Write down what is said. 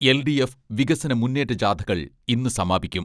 L D F വികസന മുന്നേറ്റ ജാഥകൾ ഇന്ന് സമാപിക്കും.